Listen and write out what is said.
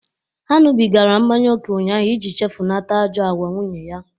Ha ṅụbigara mmanya ókè ụnyaahụ iji chefunata ajọ agwa nwunye ya.